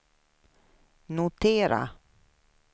notera